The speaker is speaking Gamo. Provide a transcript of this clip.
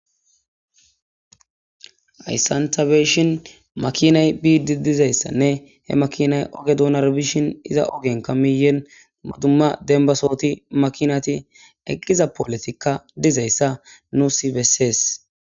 Hayssan ta beshin makinay biiddi dizayssanne he makinay oge duunar bishin iza ogenka miyen maduma denbasooti makinati eqqiza polotikka dizayssa nusi bessees